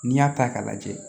N'i y'a ta k'a lajɛ